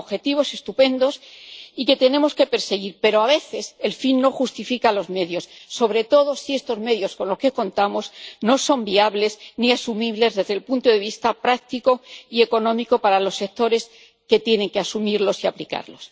Son objetivos estupendos y que tenemos que perseguir, pero a veces el fin no justifica los medios, sobre todo si estos medios con los que contamos no son viables ni asumibles desde el punto de vista práctico y económico para los sectores que tienen que asumirlos y aplicarlos.